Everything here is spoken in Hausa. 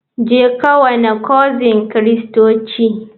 Jeka wana cocin kristoci.